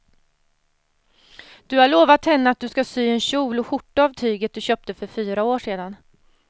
Du har lovat henne att du ska sy en kjol och skjorta av tyget du köpte för fyra år sedan.